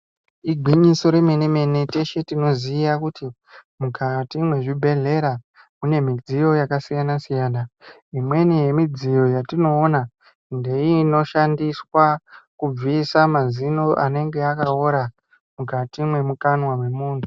Igwinyiso remenemene teshe tinoziya kuti kukati mwezvibhedhlera mune midziyo yakasiyanasiyana. Imweni yemidziyo yatinoona ndeinoshandiswa kubvisa mazino anenge akaora mukati mwemukanwa mwemunhu.